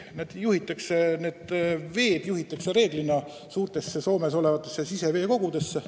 Nende veed juhitakse reeglina suurtesse siseveekogudesse.